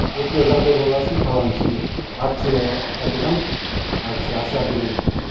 осындай жағдай болғасын қаланың ішінде акция айтылған акция асар деген